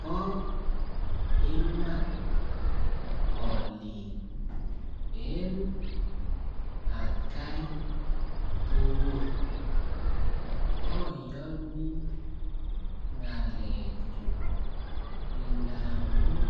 Bo Iman oliik en atkai tugul oyonii ngalechu ndamun